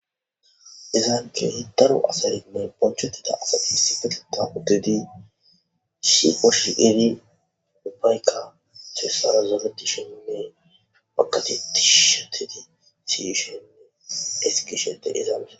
izaanke daro asali may bonchotida asasi sifeteta uddedi shioshiedi dupayka seesaazeret sheinne makateti shetedi siyishenne esgi shete izaamesa